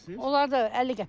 Onlar da 50 qəpiyə.